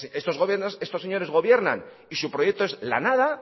estos señores gobiernan y su proyecto es la nada